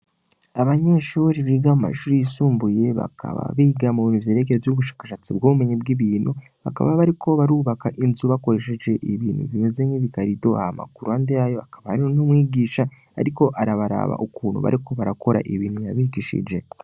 Abanyeshuri biga mu mashuri yisumbuye bakaba biga mu bintu vyeregeo vy'ubushakashatsi bw'bumenyi bw' ibintu bakaba bari ko barubaka inzu bakoresheje ibintu bimeze nk'ibigarido a makuru ande yayo akaba ari ntumwigisha, ariko arabaraba ukuntu bariko barakora ibintu yabigishije.